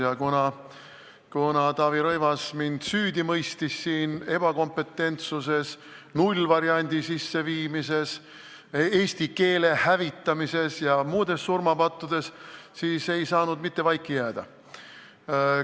Ja kuna Taavi Rõivas mõistis mind siin süüdi ebakompetentsuses, nullvariandi kehtestamises, eesti keele hävitamises ja muudes surmapattudes, siis ei saanud mitte vaiki jääda.